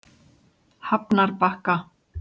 Hafnarbakka